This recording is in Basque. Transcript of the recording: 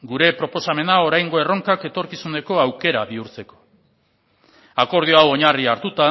gure proposamena oraingo erronkak etorkizuneko aukera bihurtzeko akordio hau oinarri hartuta